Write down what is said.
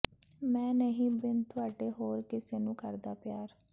ਮੈਂ ਨਹੀਂ ਬਿਨ ਤੁਹਾਡੇ ਹੋਰ ਕਿਸੇ ਨੂੰ ਕਰਦਾ ਪਿਆਰ